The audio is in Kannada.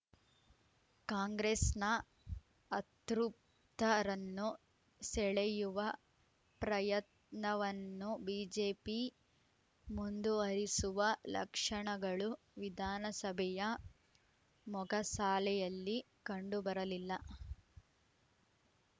ಕಾಂಗ್ರೆಸ್‌ನ ಅತೃಪ್ತರನ್ನು ಸೆಳೆಯುವ ಪ್ರಯತ್ನವನ್ನು ಬಿಜೆಪಿ ಮುಂದುವರಿಸುವ ಲಕ್ಷಣಗಳು ವಿಧಾನಸಭೆಯ ಮೊಗಸಾಲೆಯಲ್ಲಿ ಕಂಡುಬರಲಿಲ್ಲ